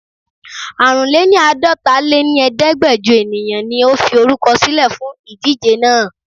Àrùnléníàdọtaléníẹẹ̀ẹ́dẹ́gbẹjo ènìyàn ni ó fi orúkọ sílè fún ìdíje náà.